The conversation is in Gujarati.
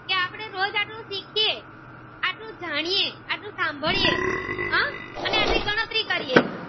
સુ જાણીએ આટલું સાંભળીએ હમ અને આ જે ગણતરી કરીએ